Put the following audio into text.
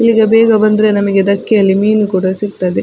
ಈಗ ಬೇಗ ಬಂದ್ರೆ ನಮಗೆ ದಕ್ಕೆಯಲ್ಲಿ ಮೀನ್‌ ಕೂಡ ಸಿಗ್ತದೆ.